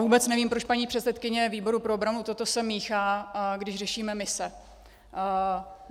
Vůbec nevím, proč paní předsedkyně výboru pro obranu sem toto míchá, když řešíme mise.